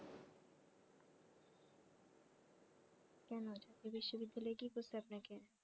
কেন জাতীয় বিশ্ববিদ্যালয় কি করছে আপনাকে